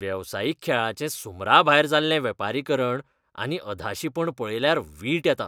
वेवसायीक खेळाचें सुमराभायर जाल्लें वेपारीकरण आनी अधाशीपण पळयल्यार वीट येता.